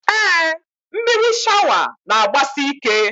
Ee, mmiri shawa n'agbasi ike